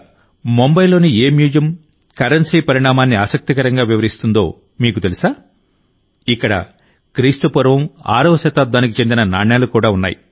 ముంబైలోని ఏ museum currency పరిణామాన్ని ఆసక్తికరంగా వివరిస్తుందో మీకు తెలుసా ఇక్కడ క్రీస్తుపూర్వం ఆరవ శతాబ్దానికి చెందిన నాణేలు ఉన్నాయి